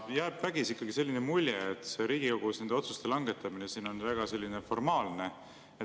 Jääb vägisi selline mulje, et Riigikogus on nende otsuste langetamine väga formaalne.